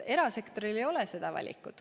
Erasektoril ei ole valikut.